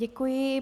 Děkuji.